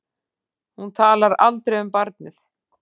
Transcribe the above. Hún talar aldrei um barnið.